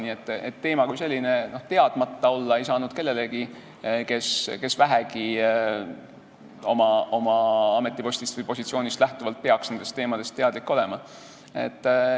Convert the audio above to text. Nii et teema kui selline ei saanud teadmata olla kellelegi, kes vähegi oma ametipostist või positsioonist lähtuvalt peaks nendest teemadest teadlik olema.